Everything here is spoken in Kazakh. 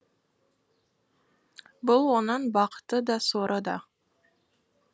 бұл оның бақыты да соры да